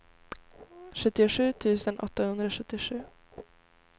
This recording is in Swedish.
sjuttiosju tusen åttahundrasjuttiosju